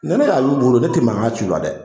Ni ne y'a y'u bolo ne tɛ mankan ci o la dɛ.